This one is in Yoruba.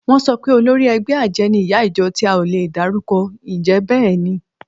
Wọ́n sọ pé olórí ẹgbẹ́ àjẹ́ ni ìyá ìjọ tí a ò lè dárúkọ. Ǹjẹ́ bẹ́ẹ̀ ni?